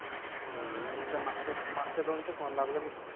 त्या मागच्या मागच्या दोन चालू लागला मी